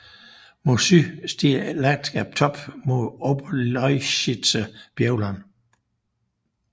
Mod syd stiger landskabet top mod Oberlausitzer Bergland